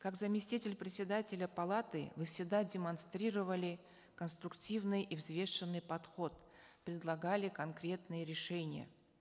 как заместитель председателя палаты вы всегда демонстрировали конструктивный и взвешенный подход предлагали конкретные решения